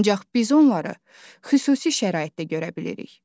Ancaq biz onları xüsusi şəraitdə görə bilirik.